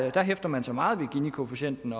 at der hæfter man sig meget ved ginikoefficienten